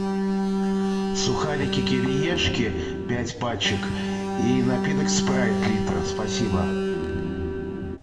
сухарики кириешки пять пачек и напиток спрайт литр спасибо